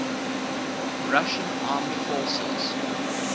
russian armed forces